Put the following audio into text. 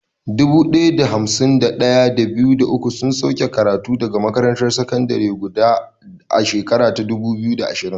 Dubu ɗaya da hamsin da ɗaya, da biyu, da uku sun sauke karatu daga makarantar sakandare guda a shekarar 2020.